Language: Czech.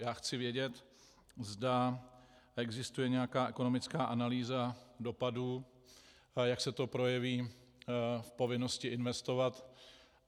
Já chci vědět, zda existuje nějaká ekonomická analýza dopadů, jak se to projeví v povinnosti investovat.